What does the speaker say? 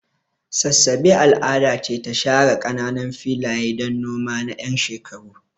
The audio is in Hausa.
Sassabe al'ada ce ta share kananan filaye don noma na 'yan shekaru.